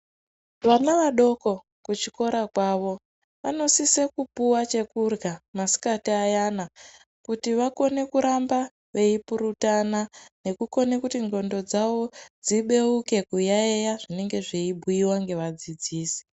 Vana vadoko kuchikora kwavo vanosisa kupuwa chekuhya masikati ayana kuti vakone kuramba veipurutana nekukone kuti ngondwo dzavo dzibeuke kuyayiya zvinenge zveibhuyiwa ngevadzidzisi.